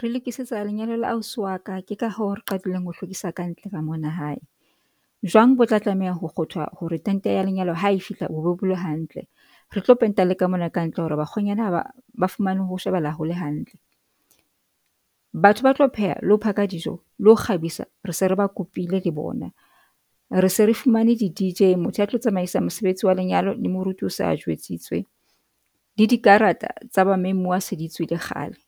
Re lokisetsa lenyalo la ausi wa ka, ke ka hoo re qadile ho hlwekisa ka ntle ka mona hae, jwang bo tla tlameha ho kgothwa hore tente ya lenyalo ha e fihla bobe bo le hantle, re tlo penta le ka mona ka hantle hore bakgwenyana ha ba fihla ba fumane ho shebahala hole hantle, batho ba tlo pheha le ho phaka dijo le ho kgabisa re se re ba kopile le bona rese re fumane di D_J, motho a tlo tsamaisa mosebetsi wa lenyalo, le moruti o se a jwetsitswe le dikarata tsa ba memuwa se di tswile kgale.